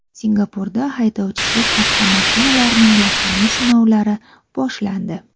Singapurda haydovchisiz avtomashinalarning yakuniy sinovlari boshlandi.